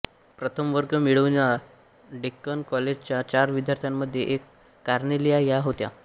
प्रथमवर्ग मिळविणाया डेक्कन कॉलेजच्या चार विद्यार्थ्यांमध्ये एक कार्नेलिया ह्या होत्या